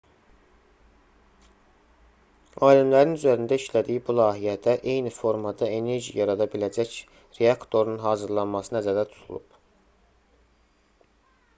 alimlərin üzərində işlədiyi bu layihədə eyni formada enerji yarada biləcək reaktorun hazırlanması nəzərdə tutulub